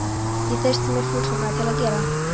Ég treysti mér fullkomlega til að gera